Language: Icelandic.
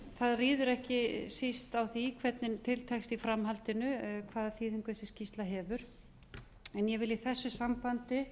það ríður ekki síst á því hvernig til tekst í framhaldinu hvaða þýðingu þessi skýrsla hefur en ég vil í þessu sambandi